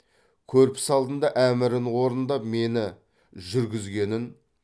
көрпіс алдында әмірін орындап мені жүргізгенін